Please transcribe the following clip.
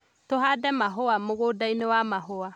Tũhande mahũa mũgũndainĩ wa mahũa